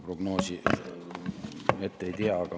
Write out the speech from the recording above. Prognoosi kunagi ette ei tea.